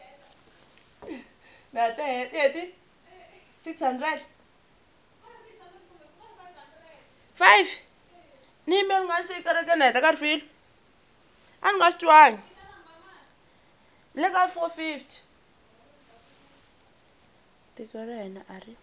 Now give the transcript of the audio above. tiko ra hina a ri